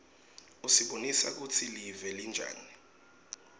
usibonisa kutsi live linjani